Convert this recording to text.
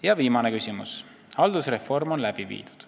Ja viimane küsimus: "Haldusreform on läbi viidud.